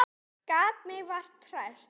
Gat mig vart hrært.